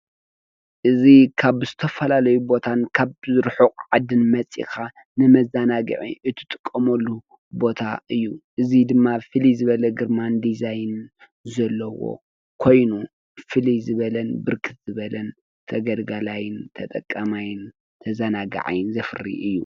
እዚ ካብ ዝተፈላለዩ ቦታን ካብ ርሑቕ ዓድን መፂካ ንመዘናግዒ እትጥቀመሉ ቦታ እዩ:: እዚ ድማ ፍልይ ዝበለ ግርማን ዲዛይንን ዘለዎ ኮይኑ ፍልይ ዝበለን ብርክት ዝበለን ተገልጋላይ ተጠቃማይ ተዘናግዓይን ዘፍሪ እዩ ።